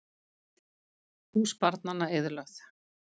Hús barnanna eyðilögð